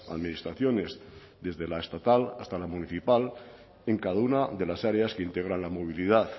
administraciones desde la estatal hasta la municipal en cada una de las áreas que integran la movilidad